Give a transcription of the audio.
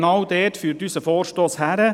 Genau dort führt unser Vorstoss hin: